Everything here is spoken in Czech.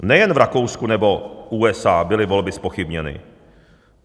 Nejen v Rakousku nebo USA byly volby zpochybněny.